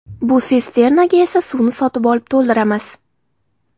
Bu sisternaga esa suvni sotib olib to‘ldiramiz.